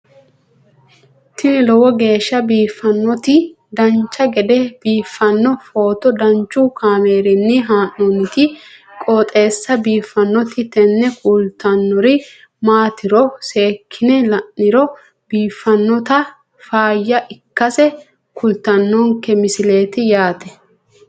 tini lowo geeshsha biiffannoti dancha gede biiffanno footo danchu kaameerinni haa'noonniti qooxeessa biiffannoti tini kultannori maatiro seekkine la'niro biiffannota faayya ikkase kultannoke misileeti yaate